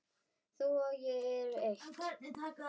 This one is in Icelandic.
Þú og ég erum eitt.